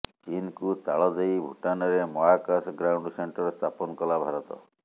ଚୀନକୁ ତାଳ ଦେଇ ଭୁଟାନରେ ମହାକାଶ ଗ୍ରାଉଣ୍ଡ ସେଣ୍ଟର ସ୍ଥାପନ କଲା ଭାରତ